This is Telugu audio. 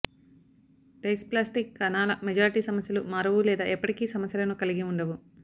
డైస్ప్లాస్టిక్ కణాల మెజారిటీ సమస్యలు మారవు లేదా ఎప్పటికీ సమస్యలను కలిగి ఉండవు